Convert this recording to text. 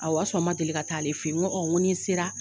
Awɔ o y'a sɔrɔ n man deli ka taa ale fɛ ye n ko ni n sera.